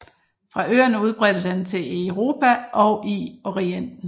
Fra øerne udbredte den til i Europa og i Orienten